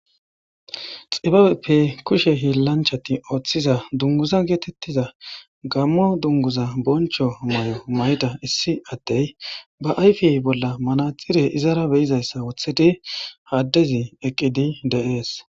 Xibabeppe kushe hiillanchati ooththiza dunguza geetettiza gammo dunguza boncho may7o mayda issi attey ba ayfiy bolla manathire izara beyizayssa wothedi haddezi eqqidi de7ees